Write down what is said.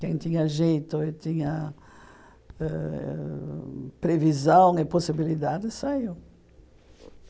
Quem tinha jeito e tinha eh previsão e possibilidade, saiu.